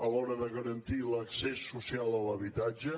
a l’hora de garantir l’accés social a l’habitatge